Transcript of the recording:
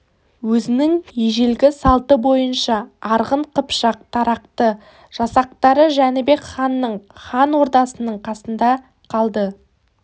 өзінің ежелгі салты бойынша арғын қыпшақ тарақты жасақтары жәнібек ханның хан ордасының қасында қалды